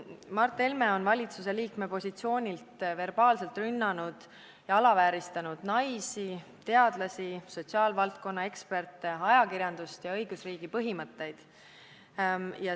Mart Helme on valitsuse liikme positsioonilt verbaalselt rünnanud ja alavääristanud naisi, teadlasi, sotsiaalvaldkonna eksperte, ajakirjandust ja õigusriigi põhimõtteid.